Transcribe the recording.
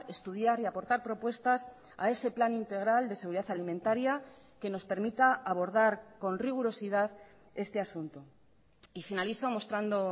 estudiar y aportar propuestas a ese plan integral de seguridad alimentaria que nos permita abordar con rigurosidad este asunto y finalizo mostrando